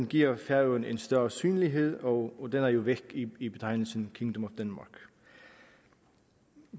giver færøerne en større synlighed og den er jo væk i betegnelsen kingdom of denmark